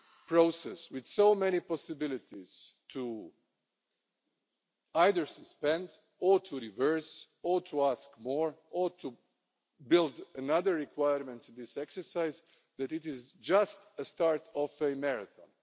legal process with so many possibilities to either suspend or to reverse or to ask more or to build another requirement of this exercise. It is just a start of a marathon.